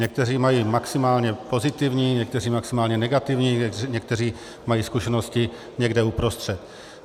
Někteří mají maximálně pozitivní, někteří maximálně negativní, někteří mají zkušenosti někde uprostřed.